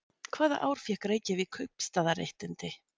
Hvaða ár fékk Reykjavík kaupstaðaréttindi?